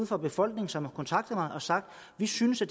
fra befolkningen som har kontaktet mig og har sagt vi synes at